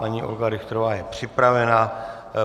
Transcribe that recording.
Paní Olga Richterová je připravena.